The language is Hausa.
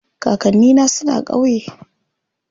Kakanni na suna ƙauye.